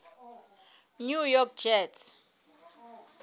new york jets